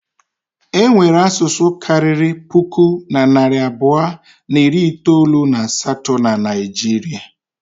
Enwere asụsụ karịrị puku na narị abụọ na iri itolu na asatọ na Naijiria.